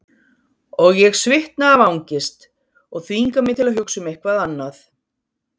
Og ég svitna af angist og þvinga mig til að hugsa um eitthvað annað.